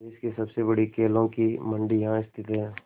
देश की सबसे बड़ी केलों की मंडी यहाँ स्थित है